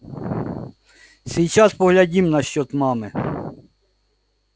сейчас поглядим насчёт мамы